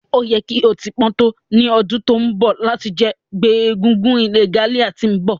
O yẹ ki o ti pọn to ni ọdun to nbọ lati jẹ ti ngbe egúngún regalia ti nbọ